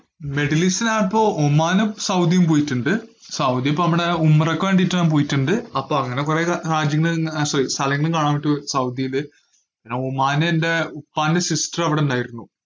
Middle ഈസ്റ്റില് ഞാനിപ്പോ ഒമാനും സൗദിയും പോയിട്ടിണ്ട്. സൗദി ഇപ്പോ അവിടെ ഉംറക്ക് വേണ്ടീട്ട് ഞാൻ പോയിട്ട്ണ്ട്, അപ്പോ അങ്ങനെ കൊറേ ര~ രാജ്യങ്ങള് ഞാൻ sorry സ്ഥലങ്ങള് കാണാനായിട്ട് പോയി സൗദിയില്, പിന്നെ ഒമാനെന്റെ ഉപ്പാൻറെ sister അവിടിണ്ടായിരുന്നു.